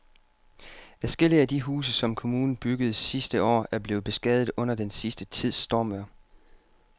Adskillige af de huse, som kommunen byggede sidste år, er blevet beskadiget under den sidste tids stormvejr.